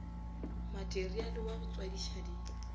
materiale wa go tswadiša di